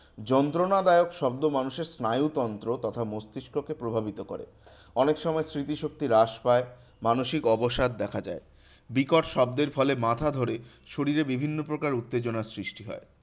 যন্ত্রণাদায়ক শব্দ মানুষের স্নায়ুতন্ত্র তথা মস্তিস্ককে প্রভাবিত করে। অনেক সময় স্মৃতিশক্তি হ্রাস পায় মানসিক অবসাদ দেখা দেয়। বিকট শব্দের ফলে মাথা ধরে শরীরে বিভিন্ন প্রকার উত্তেজনার সৃষ্টি হয়।